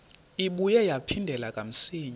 ibuye yaphindela kamsinya